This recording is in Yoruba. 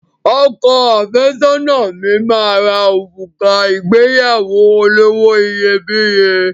Ọkọ àfẹ́sọ́nà mi máa ra òrùka ìgbéyàwó olówó iyebíye